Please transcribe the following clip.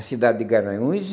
A cidade de Garanhuns e,